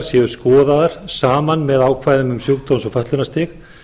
séu skoðaðar saman með ákvæðum um sjúkdóms og fötlunarstig